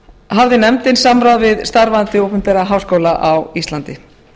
hafði nefndin samráð við starfandi opinbera háskóla á íslandi